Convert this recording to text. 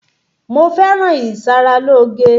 Mo fẹ́ràn ìṣaralóge.